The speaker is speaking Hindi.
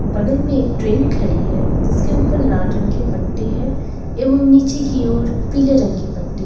बगल में एक ट्रेन खड़ी है जिसके ऊपर लाल रंग की पट्टी है एवं नीचे की ओर पीले रंग की पट्टी है।